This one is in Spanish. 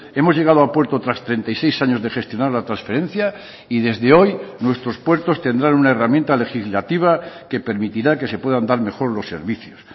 hemos llegado a puerto tras treinta y seis años de gestionar la transferencia y desde hoy nuestros puertos tendrán una herramienta legislativa que permitirá que se puedan dar mejor los servicios